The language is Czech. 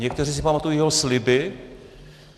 Někteří si pamatují jeho sliby.